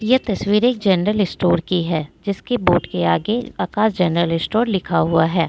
यह तस्वीर एक जनरल स्टोर की है जिसकी बोर्ड के आगे आकाश जनरल स्टोर लिखा हुआ है।